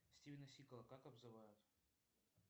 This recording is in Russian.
стивена сигала как обзывают